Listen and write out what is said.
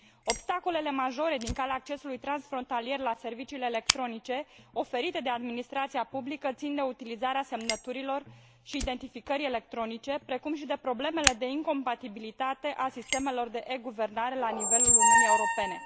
Obstacolele majore din calea accesului transfrontalier la serviciile electronice oferite de administrația publică țin de utilizarea semnăturilor și a identificării electronice, precum și de problemele de incompatibilitate a sistemelor de e guvernare la nivelul Uniunii Europene.